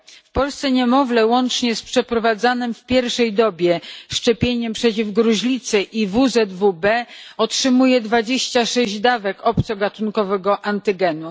W Polsce niemowlę, łącznie z przeprowadzanym w pierwszej dobie szczepieniem przeciw gruźlicy i WZW B, otrzymuje 26 dawek obcogatunkowego antygenu.